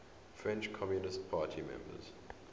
french communist party members